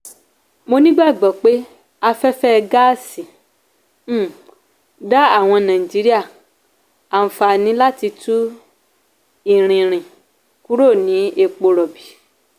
mó ní ìgbàgbọ́ pé afẹ́fẹ́ gaasi um dá àwọn nàìjíríà àǹfààní láti tú ìrìn rí um kúrò ní epo rọ̀bì